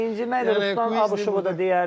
İnciməz Ruslan Abışovu da deyərəm.